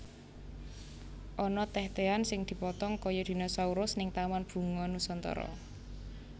Ana teh tehan sing dipotong koyo dinausurus ning Taman Bunga Nusantara